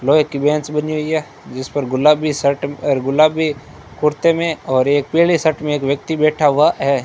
लोहे की बेंच बनी हुई है जिसपर गुलाबी शर्ट और गुलाबी कुर्ते मे और एक पीली शर्ट मे एक व्यक्ति बैठा हुआ है।